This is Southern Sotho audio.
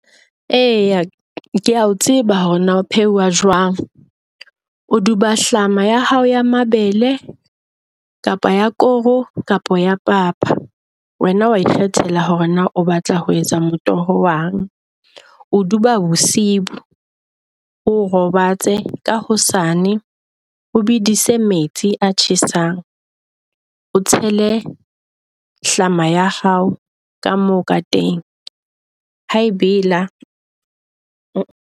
Eya kea o tseba hore na o pheuwa jwang, o duba hlama ya hao ya mabele kapa ya koro kapa ya papa. Wena wa ikgethela hore na o batla ho etsa matoho wa eng. O o duba bosiu, o robatse ka hosane o bedise metsi a tjhesang. O tshele hlama ya hao ka moo ka teng ha a e bela .